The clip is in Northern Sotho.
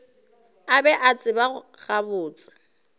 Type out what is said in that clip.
a be a tseba gabotse